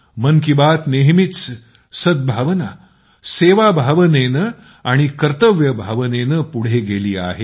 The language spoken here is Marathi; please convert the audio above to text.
मन की बात नेहमीच सद्भावना सेवाभावनेने आणि कर्तव्यभावनेने पुढे गेली आहे